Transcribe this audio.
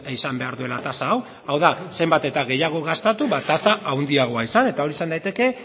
izan behar duela tasa hau hau da zenbat eta gehiago gastatu ba tasa handiagoa izan eta hori izan daiteke